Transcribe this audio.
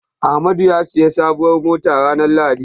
Amadu ya sayi sabuwar mota ranar lahadi.